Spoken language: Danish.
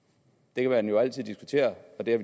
det kan man jo altid diskutere og det har